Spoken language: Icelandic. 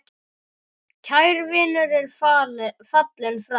Kær vinur er fallinn frá.